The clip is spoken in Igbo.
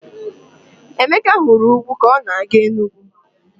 Emeka hụrụ ugwu ka ọ na-aga Enugwu.